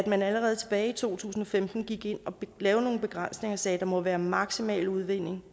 man allerede tilbage i to tusind og femten gik ind og lavede nogle begrænsninger og sagde at der må være en maksimal udvinding